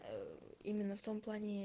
ээ именно в том плане